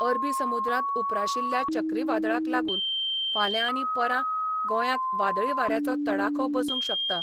अरबी समुद्रांत उप्राशिल्ल्या चक्रीवादळाक लागून फाल्यां आनी परां गोंयाक वादळी वाऱ्याचो तडाखो बसूंक शकता.